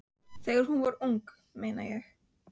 Þegar hún var ung, meina ég.